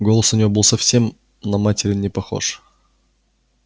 голос у нее был совсем на материн не похож